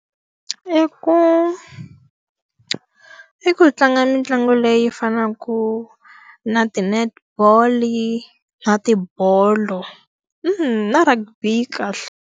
I ku, i ku hi tlanga mitlangu leyi fanaka na ti-netball-i, na ti bolo, na rugby yi kahle.